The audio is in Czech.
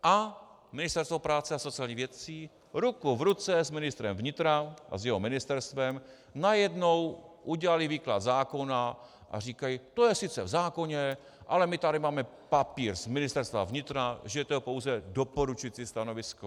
A Ministerstvo práce a sociálních věcí ruku v ruce s ministrem vnitra a s jeho ministerstvem najednou udělali výklad zákona a říkají: To je sice v zákoně, ale my tady máme papír z Ministerstva vnitra, že to je pouze doporučující stanovisko.